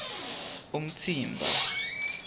umtsimba